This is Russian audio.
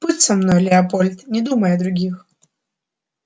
будь со мной леопольд не думай о других